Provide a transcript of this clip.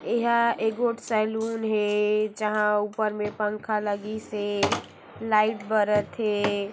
यहा एगोट सलून हे जहां ऊपर मे पंखा लागिसे लाइट बरथे।